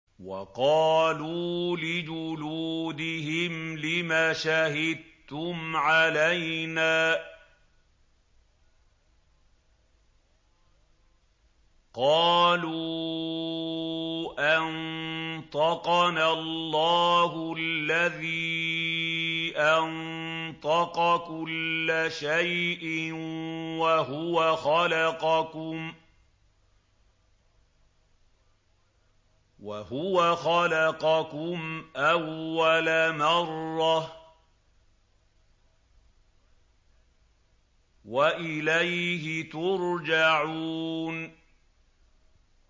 وَقَالُوا لِجُلُودِهِمْ لِمَ شَهِدتُّمْ عَلَيْنَا ۖ قَالُوا أَنطَقَنَا اللَّهُ الَّذِي أَنطَقَ كُلَّ شَيْءٍ وَهُوَ خَلَقَكُمْ أَوَّلَ مَرَّةٍ وَإِلَيْهِ تُرْجَعُونَ